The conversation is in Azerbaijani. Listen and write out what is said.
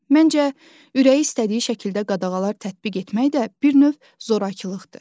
Məncə ürəyi istədiyi şəkildə qadağalar tətbiq etmək də bir növ zorakılıqdır.